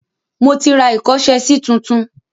Mo ti ra ìkọ́ṣẹsí tuntun.